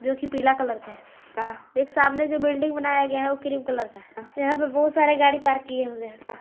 जो की पीला कलर का है एक सामने जो बिल्डिंग बनाया गया है वह क्रीम कलर का है यहां पर बहुत सारा गाड़ी पार्क किया हुआ है।